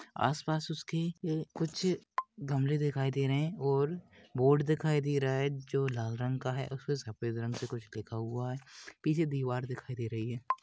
आसपास उसके ये कुछ गमले दिखाई दे रहे है और बोर्ड दिखाई दे रहा है जो लाल रंग का है ऊसपे सफ़ेद रंग के कुछ लिखा हुआ है पीछे दीवार दिखाई दे रहा है।